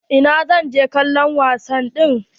Eh zan je kallon wasa ɗin.